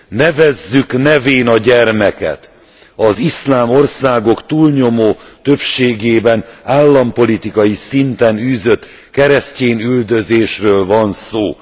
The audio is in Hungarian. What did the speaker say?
Nevezzük nevén a gyermeket az iszlám országok túlnyomó többségében állampolitikai szinten űzött keresztyénüldözésről van szó.